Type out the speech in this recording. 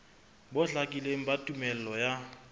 bo hlakileng ba tumello ya